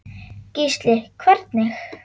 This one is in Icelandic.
Gísli: Hvernig?